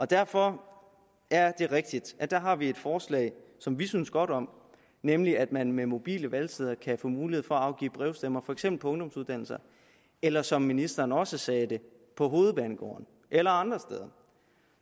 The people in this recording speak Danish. derfor er det rigtigt at der har vi et forslag som vi synes godt om nemlig at man med mobile valgsteder kan få mulighed for at afgive brevstemmer for eksempel på ungdomsuddannelser eller som ministeren også sagde det på hovedbanegården eller andre steder